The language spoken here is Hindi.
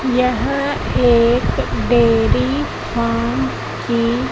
यह एक डेयरी फार्म की--